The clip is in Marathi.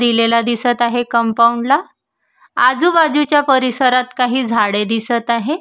दिलेला दिसत आहे कंपाऊंड ला आजूबाजूच्या परिसरात काही झाडे दिसत आहेत.